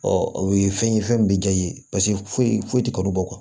o ye fɛn ye fɛn min bɛ diya i ye paseke foyi foyi tɛ kalo bɔ